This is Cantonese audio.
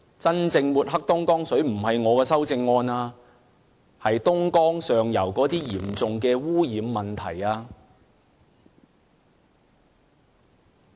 真正抹黑東江水的不是我的修正案，而是東江上游那些嚴重的污染問題。